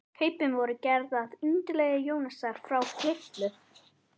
Kaupin voru gerð að undirlagi Jónasar frá Hriflu.